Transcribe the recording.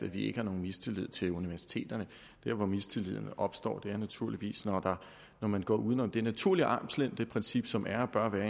vi ikke har nogen mistillid til universiteterne der hvor mistilliden opstår er naturligvis når man går uden om det naturlige armslængdeprincip som er og bør være